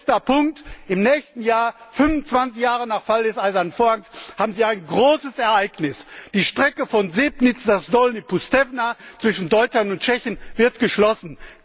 Letzter Punkt Im nächsten Jahr 25 Jahre nach Fall des Eisernen Vorhangs haben Sie ein großes Ereignis Die Strecke von Sebnitz nach Dolní Poustevna zwischen Deutschland und Tschechien wird geschlossen.